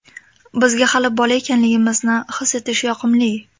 Bizga hali bola ekanligimizni his etish yoqimli.